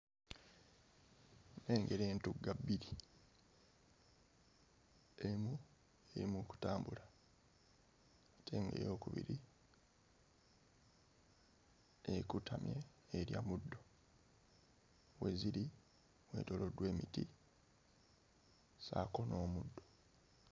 Nnengera entugga bbiri, emu eri mu kutambula ate ng'eyookubiri ekutamye erya muddo we ziri weetooloddwa emiti ssaako n'omuddo.